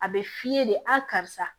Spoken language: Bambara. A bɛ f'i ye de a karisa